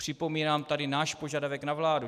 Připomínám tady náš požadavek na vládu.